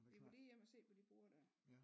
Vi må lige hjem og se på de borde dér